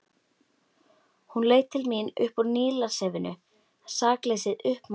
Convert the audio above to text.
Hún leit til mín upp úr Nílarsefinu, sakleysið uppmálað.